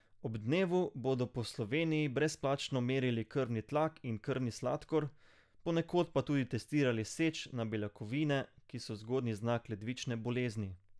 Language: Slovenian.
Ob dnevu bodo po Sloveniji brezplačno merili krvni tlak in krvni sladkor, ponekod pa tudi testirali seč na beljakovine, ki so zgodnji znak ledvične bolezni.